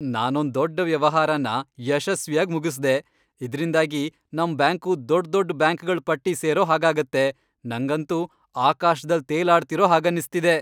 ನಾನೊಂದ್ ದೊಡ್ಡ್ ವ್ಯವಹಾರನ ಯಶಸ್ವಿಯಾಗ್ ಮುಗಿಸ್ದೆ, ಇದ್ರಿಂದಾಗಿ ನಮ್ ಬ್ಯಾಂಕು ದೊಡ್ದೊಡ್ ಬ್ಯಾಂಕ್ಗಳ್ ಪಟ್ಟಿ ಸೇರೋ ಹಾಗಾಗತ್ತೆ.. ನಂಗಂತೂ ಆಕಾಶ್ದಲ್ ತೇಲಾಡ್ತಿರೋ ಹಾಗನ್ನಿಸ್ತಿದೆ.